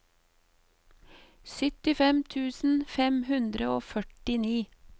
syttifem tusen fem hundre og førtini